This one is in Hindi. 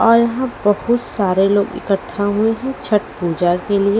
और यहां बहुत सारे लोग इकट्ठा हुए हैं छठ पूजा के लिए--